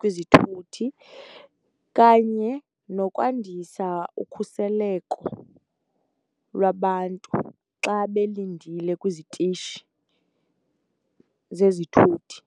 kwizithuthi kanye nokwandisa ukhuseleko lwabantu xa belindile kwizitishi zezithuthi.